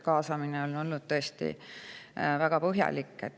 Kaasamine on olnud tõesti väga põhjalik.